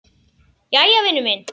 Jæja, vinur minn.